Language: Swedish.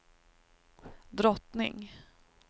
drottning